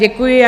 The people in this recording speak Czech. Děkuji.